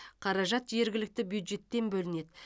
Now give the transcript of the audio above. қаражат жергілікті бюджеттен бөлінеді